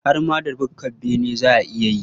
Har ma da bukkar bene za a iya yi.